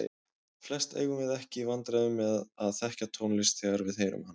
Flest eigum við ekki í vandræðum með að þekkja tónlist þegar við heyrum hana.